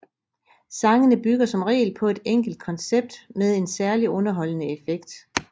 Sangene bygger som regel på et enkelt koncept med en særligt underholdende effekt